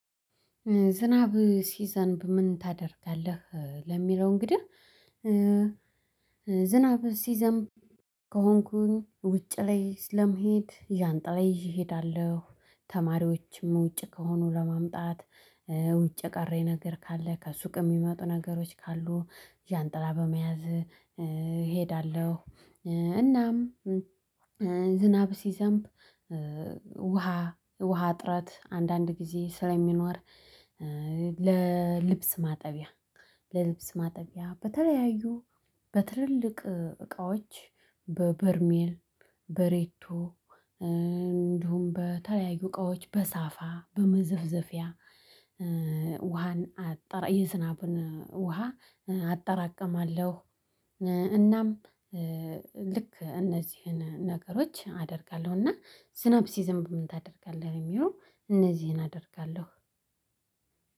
ዝናብ ሲዘንብ ምን ታደርጋለህ ለሚለው? እንግዲህ ዝናብ ሲዘም ከሆንኩኝ ውጭ ላይ ስለመሄድ ዣንጥላ ይዣ እሄዳለሁ። ተማሪዎችም ውጭ ከሆኑ ለማምጣት ውጭ የቀረኝ ነገር ካለ ከሱቅ የሚመጡ ነገሮች ካሉ ዣንጥላ በመያዝ እሄዳለሁ። እናም ዝናብ ሲዘንብ ውሃ ውሃ ጥረት አንዳንድ ጊዜ ስለሚኖር ለልብስ ማጠቢያ ለልብስ ማጠቢያ በተለያዩ በትልልቅ እቃዎች በበርሜል በሬቶ እንዲሁም በተለያዩ እቃዎች በሳፋ በመዘፍዘፊያ ውሃን አጠራ የዝናብን ውሃ አጠራቅማለሁ። እናም ልክ እነዚህን ነገሮች አደርጋለሁ እና ዝናብ ሲዝን ብም ታደርጋለህ የሚለው እነዚህን አደርጋለሁ።